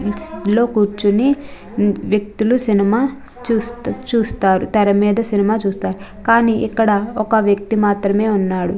లో కూర్చొని వ్యక్తులు సినిమా చూస్తారు తెర మీద సినిమా చూస్తారు కానీ ఇక్కడ ఒక వ్యక్తి మాత్రమే ఉన్నారు.